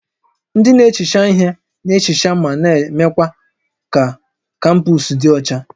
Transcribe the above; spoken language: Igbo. Ndị na-ehicha ihe na-ehicha ma na-eme ka kampọs dị ọcha